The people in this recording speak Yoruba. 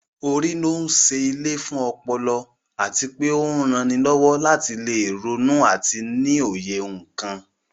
Orí ló ń ṣe ilé fún ọpọlọ àti pé ó ń ranilọ́wọ́ láti lè ronú àti ní òye nǹkan